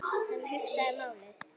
Hann hugsaði málið.